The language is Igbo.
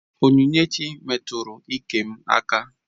Onyinyechi metụrụ iké m aka